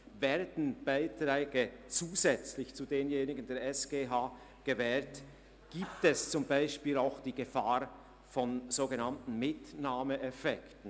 Würden Beiträge zusätzlich zu denen der SGH gewährt, gibt es auch die Gefahr von sogenannten Mitnahmeeffekten.